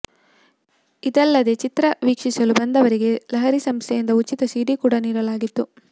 ಇದಲ್ಲದೇ ಚಿತ್ರ ವೀಕ್ಷಿಸಲು ಬಂದವರಿಗೆ ಲಹರಿ ಸಂಸ್ಥೆಯಿಂದ ಉಚಿತ ಸಿಡಿ ಕೂಡಾ ನೀಡಲಾಗಿತ್ತು